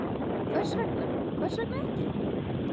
Hvers vegna, hvers vegna ekki?